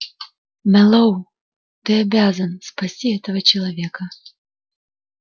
мэллоу ты обязан спасти этого человека